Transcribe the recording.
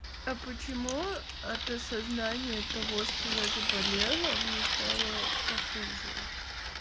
а почему от осознания того что я заболела мне стало похуже